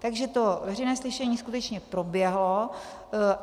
Takže to veřejné slyšení skutečně proběhlo.